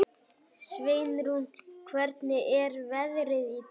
Sveinrún, hvernig er veðrið í dag?